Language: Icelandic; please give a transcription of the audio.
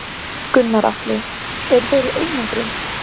Gunnar Atli: Eru þeir í einangrun?